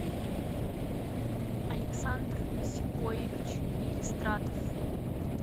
александр сикоевич елистратов